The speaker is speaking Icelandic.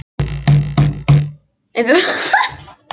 Upphafsstafur í ævintýri af feðgunum Hálfdani svarta og Haraldi hárfagra.